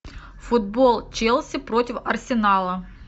футбол челси против арсенала